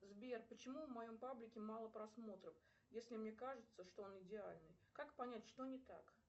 сбер почему в моем паблике мало просмотров если мне кажется что он идеальный как понять что не так